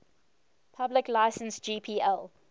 public license gpl